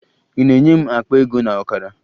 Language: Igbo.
Ị na-enye m akpa ego na ọkara?